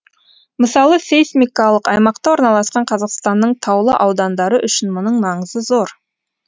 мысалы сейсмикалық аймақта орналасқан қазақстанның таулы аудандары үшін мұның маңызы зор